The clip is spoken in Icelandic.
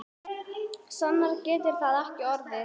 Sannara getur það ekki orðið.